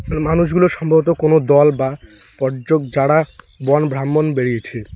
আর মানুষগুলো সম্ভবত কোনো দল বা পর্যক যারা বন ভ্রামণ বেরিয়েছে।